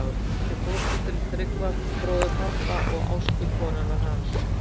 Ég var sett í fóstur, til Tryggva bróður pabba og Ástu konunnar hans.